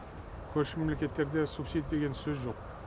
көрші мемлекеттерде субсидия деген сөз жоқ